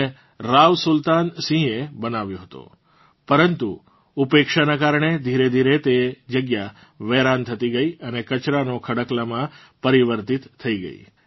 તેને રાવ સુલ્તાન સિંહએ બનાવ્યો હતો પરંતુ ઉપેક્ષાના કારણે ધીરેધીરે તે જગ્યા વેરાન થતી ગઇ અને કચરાંનો ખડકલામાં પરિવર્તીત થઇ ગઇ